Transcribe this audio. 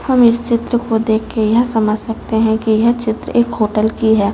हम इस चित्र को देख के यह समझ सकते हैं कि यह चित्र एक होटल की हैं।